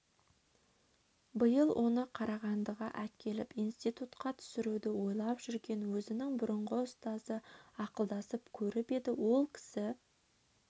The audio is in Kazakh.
биыл оны қарағандыға әкеліп институтқа түсіруді ойлап жүрген өзінің бұрынғы ұстазы ақылдасып көріп еді ол кісі